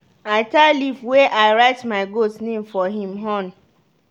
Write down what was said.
i tie leaf wey i write my goat name for him horn.